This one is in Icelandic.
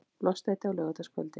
lostæti á laugardagskvöldi!